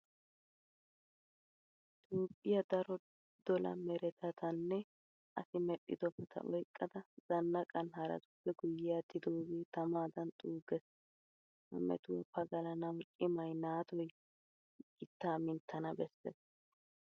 Toophphiya daro dola meretatanne asi medhdhidobata oyqqada zannaqan haratuppe guyye aattidoogee tamaadan xuuggees. Ha metuwa pagalanawu cimay naatoy gittaa minttana bessees.